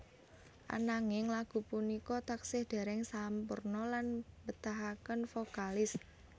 Ananging lagu punika taksih dereng sampurna lan betahaken vokalis